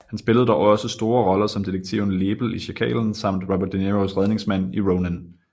Han spillede dog også store roller som detektiven Lebel i Sjakalen samt Robert de Niros redningsmand i Ronin